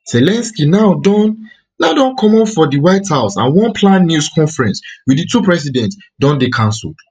zelensky now don now don comot from di white house and one planned news conference with di two presidents don dey cancelled